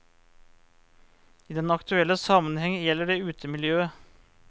I den aktuelle sammenheng gjelder det utemiljøet.